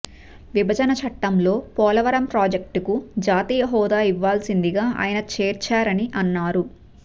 విభజన చట్టంలో పోలవరం ప్రాజెక్టుకు జాతీయ హోదా ఇవ్వాల్సిందిగా ఆయన చేర్చారని అన్నారు